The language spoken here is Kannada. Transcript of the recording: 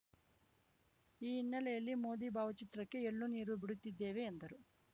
ಈ ಹಿನ್ನೆಲೆಯಲ್ಲಿ ಮೋದಿ ಭಾವಚಿತ್ರಕ್ಕೆ ಎಳ್ಳುನೀರು ಬಿಡುತ್ತಿದ್ದೇವೆ ಎಂದರು